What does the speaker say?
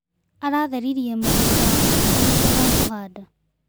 Aratheririe mũgũnda wake kahinda ga kũhanda.